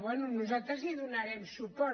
bé nosaltres hi donarem suport